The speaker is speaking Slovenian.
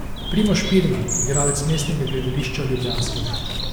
Primož Pirnat, igralec Mestnega gledališča ljubljanskega.